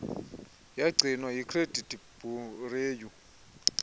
yagcinwa yicredit bureau